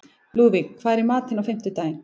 Lúðvíg, hvað er í matinn á fimmtudaginn?